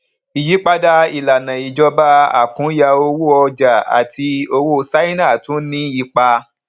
ìyípadà ìlànà ìjọba àkúnya owó ọjà àti owó ṣáínà tún ní ipa